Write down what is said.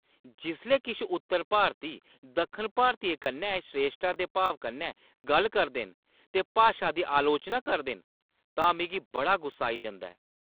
जिसलै किश उत्तर भारती दक्खन भारतियें कन्नै श्रेश्ठता दे भाव कन्नै गल्ल करदे न ते भाशा दी आलोचना करदे न तां मिगी बड़ा गुस्सा आई जंदा ऐ।